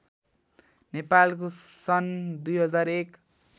नेपालको सन् २००१